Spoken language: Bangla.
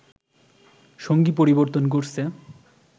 সঙ্গী পরিবর্তন করছে